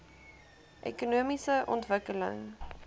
ekonomiese ontwikkeling